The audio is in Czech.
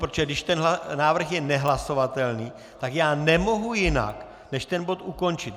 Protože když ten návrh je nehlasovatelný, tak já nemohu jinak než ten bod ukončit.